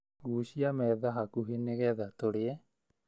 Gucia metha hakuhĩ nĩgetha tũrĩe